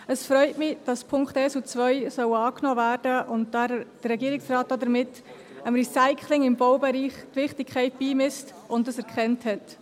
Es freut mich, dass die Punkte 1 und 2 angenommen werden sollen und der Regierungsrat damit dem Recycling im Baubereich seine Wichtigkeit beimisst und dies erkannt hat.